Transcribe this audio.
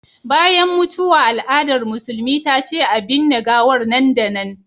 Bayan mutuwa al'adar musulmi ta ce a binne gawar nan da nan